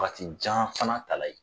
Waatijan fana tala yen